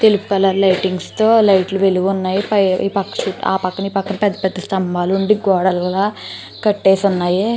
తెలుపు colour lightings తో లైట్లు వెలిగి ఉన్నాయి పై ఈ పక్కన చుట్టు ఆ పక్కన ఈ పక్కన పెద్ద స్తంభాల్లో ఉండి గోడలుగ కట్టేసి ఉన్నాయి.